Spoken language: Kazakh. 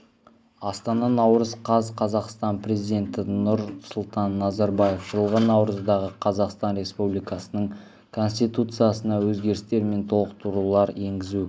астана наурыз қаз қазақстан президенті нұрсұлтан назарбаев жылғы наурыздағы қазақстан республикасының конституциясына өзгерістер мен толықтырулар енгізу